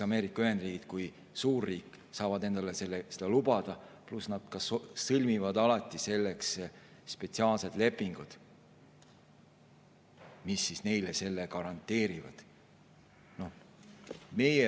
Ameerika Ühendriigid kui suurriik saab endale seda lubada, pluss ta ka sõlmib alati selleks spetsiaalsed lepingud, mis selle garanteerivad.